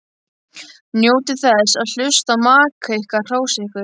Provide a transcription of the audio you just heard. Njótið þess að hlusta á maka ykkar hrósa ykkur.